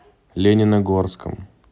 лениногорском